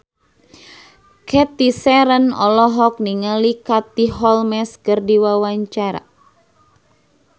Cathy Sharon olohok ningali Katie Holmes keur diwawancara